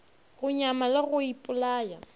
go nyama le go ipolaya